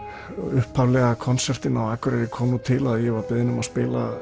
upphaflegi konsertinn á Akureyri kom nú til þannig að ég var beðinn um að spila